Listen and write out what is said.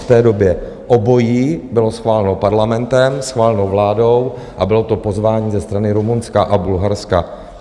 V té době obojí bylo schváleno parlamentem, schváleno vládou a bylo to pozvání ze strany Rumunska a Bulharska.